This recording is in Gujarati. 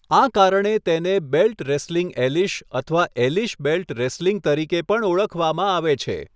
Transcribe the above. આ કારણે તેને 'બેલ્ટ રેસલિંગ એલિશ' અથવા 'એલિશ બેલ્ટ રેસલિંગ' તરીકે પણ ઓળખવામાં આવે છે.